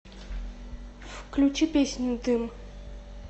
включи песню дым